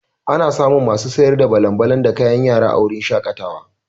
Ana samun masu sayar da balan-balan da kayan yara a wurin shaƙatawa.